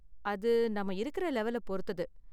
அது நாம இருக்குற லெவல பொருத்தது.